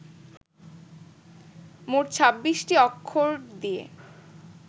মোট ছাব্বিশটি অক্ষর দিয়ে